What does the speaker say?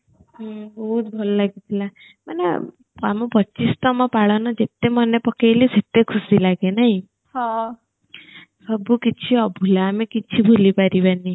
ହୁଁ ବହୁତ ଭଲ ଲାଗିଥିଲା ମାନେ ଆମ ପଚିଶ ତମ ପାଳନ ଯେତେ ମନେ ପକେଇଲେ ସେତେ ଖୁସି ଲାଗେ ନାଇଁ ସବୁ କିଛି ଅଭୂଲା ଆମେ କିଛି ଭୁଲି ପାରିବାନି